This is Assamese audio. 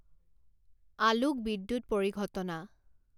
আলোক বিদ্যূৎ পৰিঘটনা